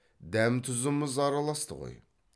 дәм тұзымыз араласты ғой